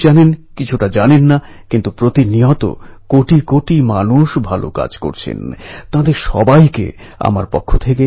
আজাদ নিজের জীবন বাজী রেখেছিলেন কিন্তু বিদেশী শাসনের সামনে কখনও মাথা নোয়াননি